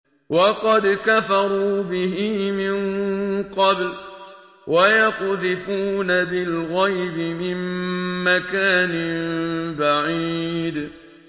وَقَدْ كَفَرُوا بِهِ مِن قَبْلُ ۖ وَيَقْذِفُونَ بِالْغَيْبِ مِن مَّكَانٍ بَعِيدٍ